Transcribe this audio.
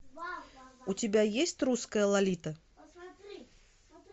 у тебя есть русская лолита